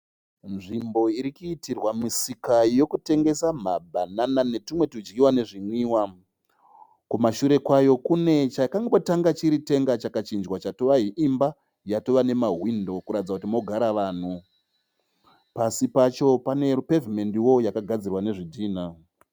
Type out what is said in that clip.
Nzvimbo irikuitirwa musika yekutengesa mabanana netumwe tudyiwa nezvimwiwa. Kumashure kwayo kune chakangotanga chiri tenge chikachinjwa chatova imba yatova nemahwindo kuratidza kuti mogara vanhu. Pasi pacho pane rupavement wo yakagadzirwa nezvidhinha.